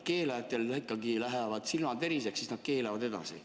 Keelajatel lähevad silmad põlema ja nad keelavad edasi.